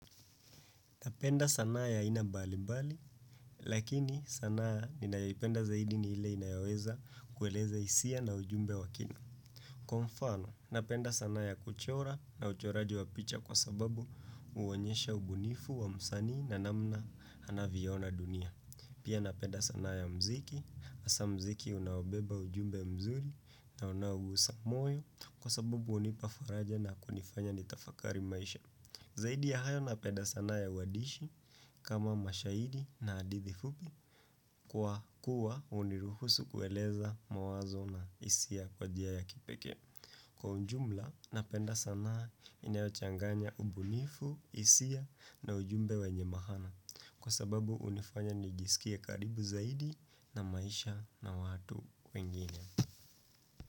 Napenda sanaa ya aina mbali mbali, lakini sanaa ninayoipenda zaidi ni ile inayoweza kueleza hisia na ujumbe wakina. Kwa mfano, napenda sanaa ya kuchora na uchoraji wa picha kwa sababu huonyesha ubunifu wa msanii na namna anavyoona dunia. Pia napenda sanaa ya mziki, hasa mziki unaobeba ujumbe mzuri na unaogusa moyo kwa sababu hunipa faraja na kunifanya nitafakari maisha. Zaidi ya hayo na penda sanaa ya uadishi kama mashairi na hadithi fupi kwa kuwa uniruhusu kueleza mawazo na hisia kwa njia ya kipekee. Kwa ujumla na penda sana inayochanganya ubunifu, hisia na ujumbe wenye mahana kwa sababu unifanya nijiskie karibu zaidi na maisha na watu wengine.